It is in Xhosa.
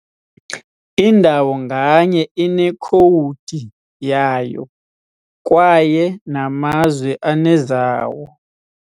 Indawo nganye inekhowudi yayo, kwaye namazwe anezawo ].